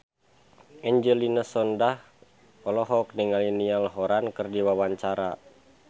Angelina Sondakh olohok ningali Niall Horran keur diwawancara